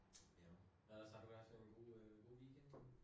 Jo. Hvad ellers har du ellers haft en god øh god weekend?